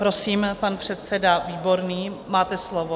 Prosím, pan předseda Výborný, máte slovo.